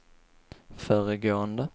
föregående